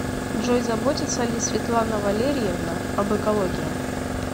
джой заботится ли светлана валерьевна об экологии